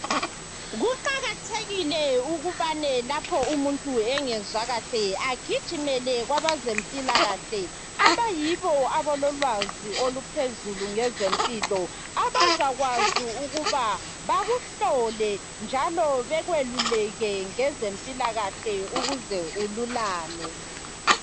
Kuqakathekile ukubane lapho umuntu engezwa kahle agijimele kwabezempilakahle abayibo abalolwazi oluphezulu ngezempilo abazakwazi ukuba bakuhlole njalo bekweluleke ngezempilakahle ukuze ululame.